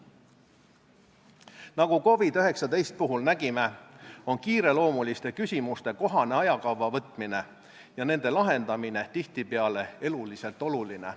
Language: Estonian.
Nagu COVID-19 puhul nägime, on kiireloomuliste küsimuste kohene ajakavva võtmine ja nende lahendamine tihtipeale eluliselt oluline.